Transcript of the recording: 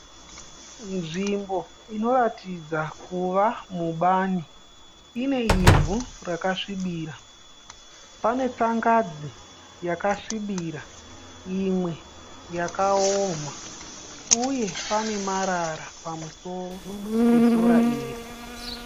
Nzvimbo inoratidza kuva mubani ine ivhu rakasvibira. Pane tsangadzi yakasvibira imwe yakaoma, uye pane marara pamusoro pesora iri.